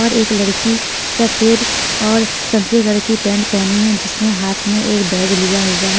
और एक लड़की सफेद और संते घर की पेंट पहनी है जिसने हाथ में एक बैग लिया हुआ है.